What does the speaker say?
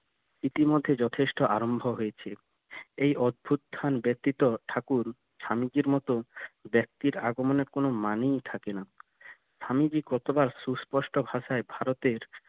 ইতিমধ্যে যথেষ্ট আরম্ভ হয়েছে এই অভ্যুথান ব্যতীত ঠাকুর স্বামীজির মত ব্যক্তির আগমনে কোনো মানেই থাকে না স্বামীজি কতবার সুস্পষ্ট ভাষায় ভারতের